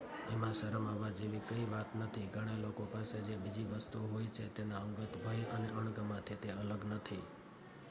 એમાં શરમ આવવા જેવી કઇં વાત નથી ઘણા લોકો પાસે જે બીજી વસ્તુઓ હોય છે તેના અંગત ભય અને અણગમાથી તે અલગ નથી